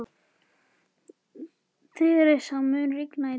Theresa, mun rigna í dag?